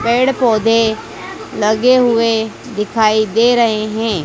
पेड़ पौधे लगे हुए दिखाई दे रहे हैं।